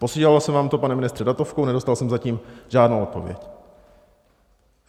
Posílal jsem vám to, pane ministře , datovkou, nedostal jsem zatím žádnou odpověď.